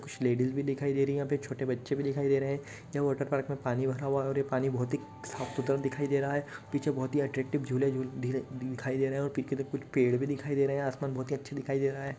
कुछ लेडीज़ भी दिखाई दे रही हैं यहाँ पे छोटे बच्चे भी दिखाई दे रहे हैं। यह वॉटर पार्क में पानी भरा हुआ है और ये पानी बोहोत ही साफ सुथरा दिखाई दे रहा है। पीछे बोहोत ही अट्रैक्टिव झूले झूल धीरे दिखाई दे रहे हैं और पीके ते कुछ पेड़ भी दिखाई दे रहे हैं आसमान बोहोत ही अच्छे दिखाई दे रहा है।